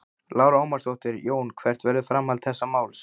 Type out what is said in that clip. Lára Ómarsdóttir: Jón hvert verður framhald þessa máls?